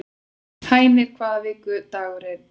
Hænir, hvaða vikudagur er í dag?